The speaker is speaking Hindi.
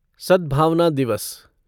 सद्भावना दिवस